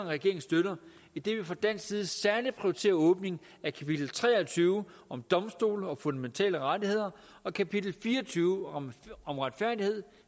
regeringen støtter idet vi fra dansk side særlig prioriterer åbningen af kapitel tre og tyve om domstole og fundamentale rettigheder og kapitel fire og tyve om om retfærdighed